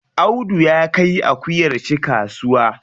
Audu ya kai akuyar shi kasuwa.